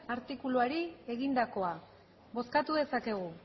artikuluari egindakoa bozkatu dezakegu